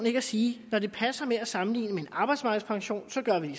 ikke at sige at når det passer med at sammenligne med en arbejdsmarkedspension så gør man